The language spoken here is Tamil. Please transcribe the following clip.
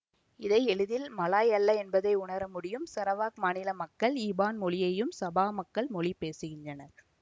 இதை எளிதில் மலாய் அல்ல என்பதை உணரமுடியும் சரவாக் மாநில மக்கள் இபான் மொழியையும் சபா மக்கள் மொழி பேசுகின்றனர்